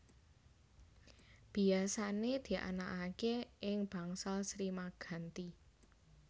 Biyasané dianakaké ing Bangsal Sri Maganti